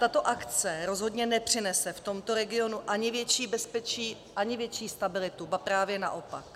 Tato akce rozhodně nepřinese v tomto regionu ani větší bezpečí, ani větší stabilitu, ba právě naopak.